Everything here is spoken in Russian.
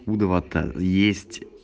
два то есть